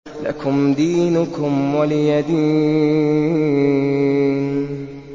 لَكُمْ دِينُكُمْ وَلِيَ دِينِ